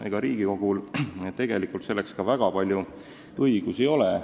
Ega Riigikogul tegelikult selleks ka väga palju õigusi ei ole.